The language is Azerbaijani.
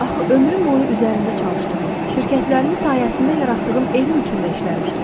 Axı ömrüm boyu üzərində çalıştığım, şirkətlərimin sayəsində yaratdığım evim üçün də işləmişdi.